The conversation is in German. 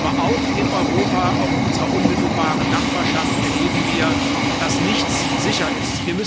Aber auch in Europa, auch in unserer unmittelbaren Nachbarschaft erleben wir, dass nichts sicher ist.